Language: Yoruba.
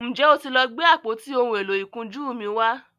njé o tí lọ Gbe àpótí òún èló ìkunjú mí wá?